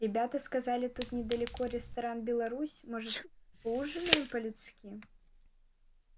ребята сказали тут недалеко ресторан беларусь может поужинаем по людски